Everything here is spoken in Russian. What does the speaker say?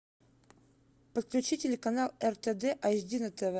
подключи телеканал ртд эйч ди на тв